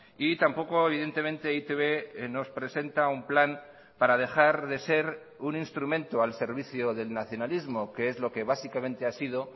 y tampoco evidentemente e i te be nos presenta un plan para dejar de ser un instrumento al servicio del nacionalismo que es lo que básicamente ha sido